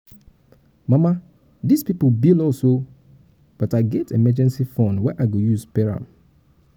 mama dis people bill us oo but i get emergency fund wey i go use pay am.